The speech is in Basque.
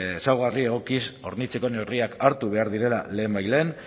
ezaugarri egokiz hornitzeko neurriak hartu behar direla lehenbailehen